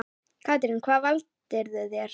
Katrín: Hvað valdirðu þér?